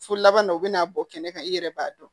Fo laban dɔ bɛna bɔ kɛnɛ kan i yɛrɛ b'a dɔn